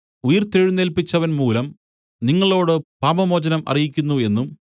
ഉയിർത്തെഴുന്നേല്പിച്ചവൻമൂലം നിങ്ങളോട് പാപമോചനം അറിയിക്കുന്നു എന്നും